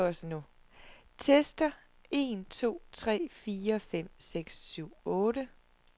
Tester en to tre fire fem seks syv otte.